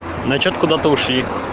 но что-то куда-то ушли